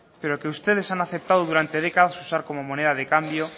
pero que ustedes han aceptado durante décadas usar como moneda de cambio